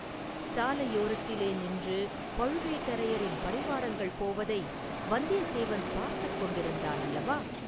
சாலையோரத்திலே நின்று பழுவேட்டரையரின் பரிவாரங்கள் போவதை வந்தியத்தேவன் பார்த்துக் கொண்டிருந்தான் அல்லவா?